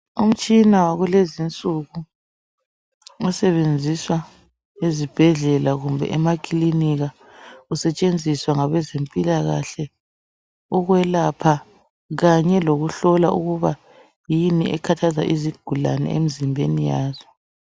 Umtshina wakulezinsuku osebenziswa ezibhedlela kumbe emakiliniki usetshenziswa ngabezempilakahle ukwelapha Kanye lokuhlola ukuba yini ekhathaza izigulani emzimbeni yazo.